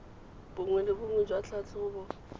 bongwe le bongwe jwa tlhatlhobo